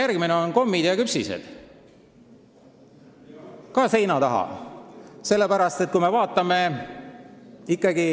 Kas kommid ja küpsised ka seina taha?